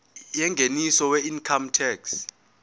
yengeniso weincome tax